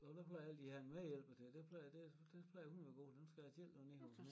Og der plejer jeg altid at have en medhjælper til det plejer det det plejer hun og være god til dem nu skal jeg selv derned